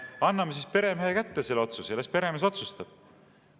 Anname peremehe kätte selle otsuse, las peremees otsustab.